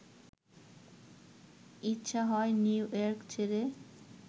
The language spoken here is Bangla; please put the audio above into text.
ইচ্ছা হয় নিউইয়র্ক ছেড়ে